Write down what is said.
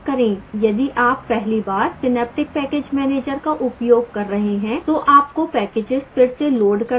यदि आप पहली बार synaptic package manager का उपयोग कर रहे हैं तो आपको packages फिर से लोड करने की आवश्यकता है